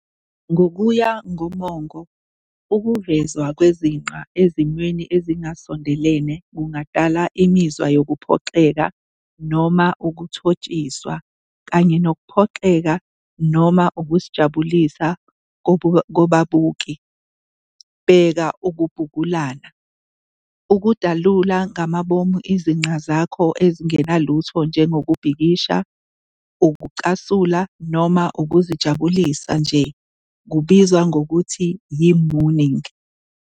Ngokuya ngomongo, ukuvezwa kwezinqa ezimweni ezingasondelene kungadala imizwa yokuphoxeka noma ukuthotshiswa, kanye nokuphoxeka noma ukuzijabulisa kubabuki, bheka ukubhulukana. Ukudalula ngamabomu izinqa zakho ezingenalutho njengokubhikisha, ukucasula, noma ukuzijabulisa nje kubizwa ngokuthi yi-mooning.